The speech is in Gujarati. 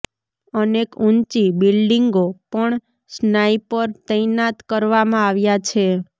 અનેક ઊંચી બિલ્ડીંગો પણ સ્નાઈપર તૈનાત કરવામાં આવ્યા છે